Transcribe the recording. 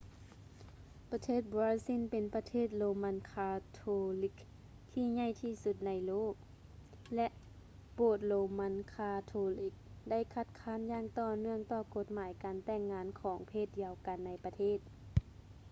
ປະເທດບຣາຊິນແມ່ນປະເທດໂຣມັນຄາໂທຣິກທີ່ໃຫຍ່ທີ່ສຸດໃນໂລກ ແລະ ໂບດໂຣມັນຄາໂທລິກໄດ້ຄັດຄ້ານຢ່າງຕໍ່ເນື່ອງຕໍ່ກົດໝາຍການແຕ່ງງານຂອງເພດດຽວກັນໃນປະເທດ